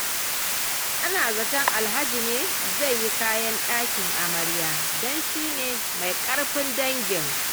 Ana zaton Alhaji ne zai yi kayan ɗakin amaryar don shi ne mai ƙarfin dangin.